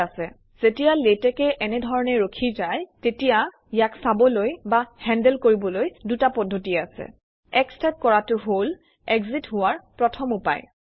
থিক আছে যেতিয়া লেতেকে এনেধৰনে ৰখি যায় তেতিয়া ইয়াক চাবলৈ বা হেন্দেল কৰিবলৈ দুটা পদ্ধতি আছে X টাইপ কৰাটো হল এক্জিত হোৱাৰ প্ৰথম উপায়